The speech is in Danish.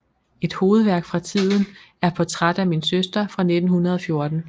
Et hovedværk fra tiden er Portræt af min søster fra 1914